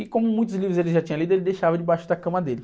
E como muitos livros ele já tinha lido, ele deixava debaixo da cama dele.